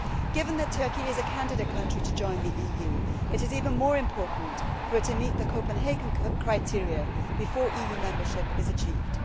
Given that Turkey is a candidate country to join the EU, it is even more important for it to meet the Copenhagen criteria before EU membership is achieved.